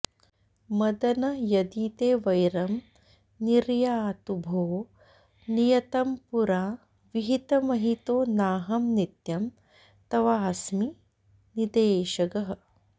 मदन यदि ते वैरं निर्यातु भो नियतं पुरा विहितमहितो नाहं नित्यं तवास्मि निदेशगः